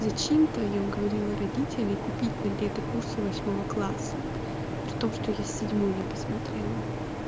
зачем-то я уговорила родителей купить на лето курсы восьмого класса при том что я седьмой не посмотрела